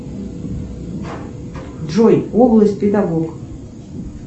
джой область педагог